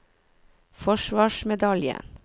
forsvarsmedaljen